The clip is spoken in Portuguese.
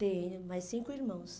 Tenho, mais cinco irmãos.